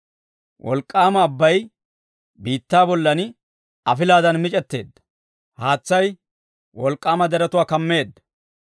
Wolk'k'aama abbay biittaa bollan afilaadan mic'etteedda; haatsay wolk'k'aama deretuwaa kammeedda.